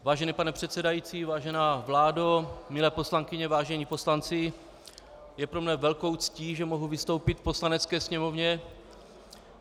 Vážený pane předsedající, vážená vládo, milé poslankyně, vážení poslanci, je pro mne velkou ctí, že mohu vystoupit v Poslanecké sněmovně.